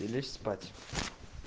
и лечь спать